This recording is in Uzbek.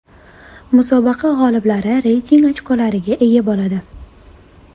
Musobaqa g‘oliblari reyting ochkolariga ega bo‘ladi.